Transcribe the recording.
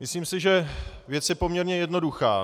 Myslím si, že věc je poměrně jednoduchá.